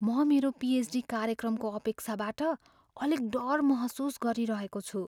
म मेरो पिएचडी कार्यक्रमको अपेक्षाबाट अलिक डर महसुस गरिरहेको छु।